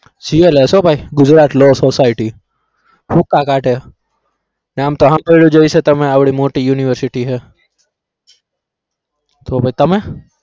GLS હો ભાઈ Gujarat law society ભૂકા કાઢે નામ તો સાંભળ્યું હશે તમે અવળી મોટી university છે. તો પછી તમે